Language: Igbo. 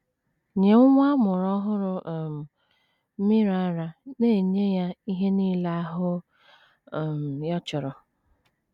Nye nwa a mụrụ ọhụrụ um, mmiri ara na - enye ya ihe nile ahụ um ya chọrọ.